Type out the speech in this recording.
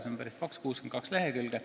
See on päris paks, 62 lehekülge.